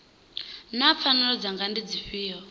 naa pfanelo dzanga ndi dzifhio